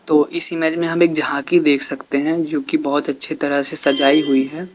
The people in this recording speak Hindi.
तो इस इमेज में झांकी देख सकते हैं जो की बहोत अच्छे तरह से सजाई हुई है।